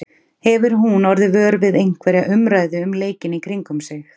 Hefur hún orðið vör við einhverja umræðu um leikinn í kringum sig?